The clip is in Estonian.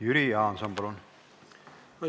Jüri Jaanson, palun!